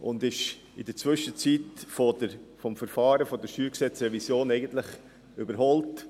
Inzwischen wurde er von der StG-Revision eigentlich überholt.